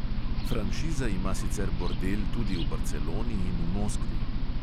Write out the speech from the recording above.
Franšiza ima sicer bordel tudi v barceloni in v moskvi.